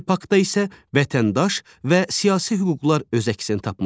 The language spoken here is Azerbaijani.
İkinci paktda isə vətəndaş və siyasi hüquqlar öz əksini tapmışdır.